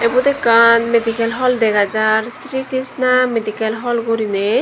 eyot ekkan medicin holl degajar Sri Krishna medikel hol goriney.